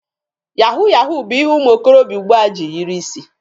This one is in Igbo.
Yahu yahu bụ ihe ụmụ okorobịa ugbua ji yiri isi.